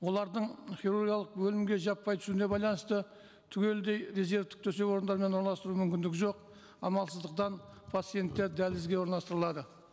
олардың хирургиялық бөлімге жаппай түсуіне байланысты түгелдей резервтік төсек орындарымен орналастыру мүмкіндігі жоқ амалсыздықтан пациенттер дәлізге орналастырылады